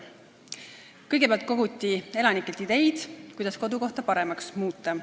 Kõigepealt koguti elanikelt ideid, kuidas kodukohta paremaks muuta.